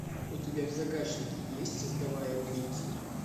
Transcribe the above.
у тебя в загашнике есть создавая убийцу